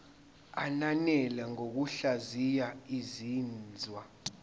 ananele ngokuhlaziya izinzwa